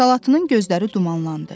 Salatının gözləri dumanlandı.